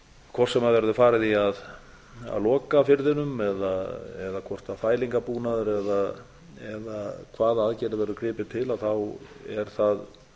hvort sem verður farið í að loka firðinum eða hvort mælingarbúnaði eða hvaða aðgerðir verður gripið til þá er